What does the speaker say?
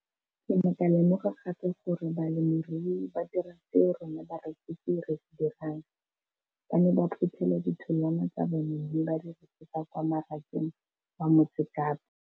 Ke ne ka lemoga gape gore balemirui ba dira seo rona barekisi re se dirang, ba ne ba phuthela ditholwana tsa bona mme ba di rekisa kwa marakeng wa Motsekapa.